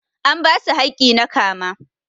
An basu hakki na kama.